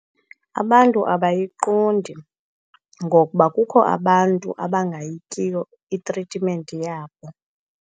Abantu abayiqondi, ngokuba kukho abantu abangayityiyo itritimenti yabo.